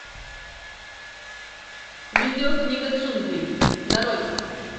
видео книга джунглей нарой